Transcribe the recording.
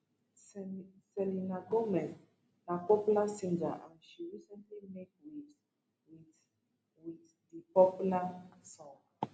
selena gomez na popular singer and she recently make waves wit wit di popular song